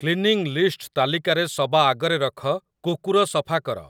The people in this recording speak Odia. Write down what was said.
କ୍ଲିନିଂ ଲିଷ୍ଟ ତାଲିକାରେ ସବା ଆଗରେ ରଖ 'କୁକୁର ସଫା କର'